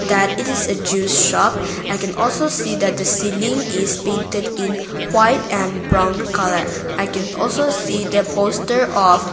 that it is a juice shop i can also see that the ceiling is painted in white and brown colour i can also see the poster of--